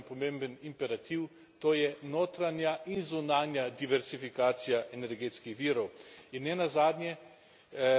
Zato je pred nami, pred Evropsko unijo, en pomemben imperativ, to je notranja in zunanja diverzifikacija energetskih virov.